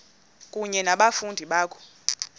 kunye nabafundi bakho